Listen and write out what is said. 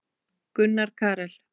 Gunnar Karel.